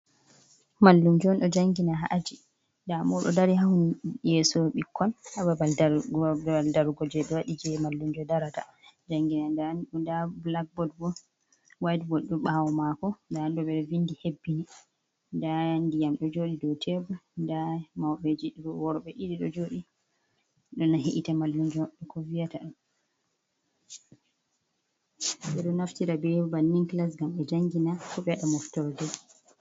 Mallumjo ɗo jangina ha aji, da moɗo dari ha yeeso ɓikkoi ha babaal dargo jei ɓe waɗi jei mallumjo darata jangina nda bulackbod bo waitbod ɗo ɓawo maako ndan ɓe ɗo vindi hebbini nda ndiyam ɗo jooɗi dou tebul nda mauɓeji worɓe ɗiɗi jooɗi heɗita mallumjo ko vi'ata ɓe ɗo naftira be bannin kilas ngam ɓe jangina Ko ɓe waɗa moftorde.